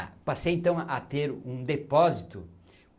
Ah, passei então a ter um depósito.